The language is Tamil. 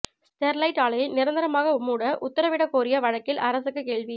ஸ்டெர்லைட் ஆலையை நிரந்தரமாக மூட உத்தரவிடக் கோரிய வழக்கில் அரசுக்கு கேள்வி